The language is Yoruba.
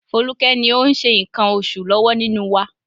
Foluke ni ó ń ṣe nǹkan oṣù lọ́wọ́ nínú wa.